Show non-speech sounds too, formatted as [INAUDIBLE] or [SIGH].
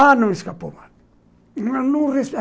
Ah, não me escapou mais. [UNINTELLIGIBLE]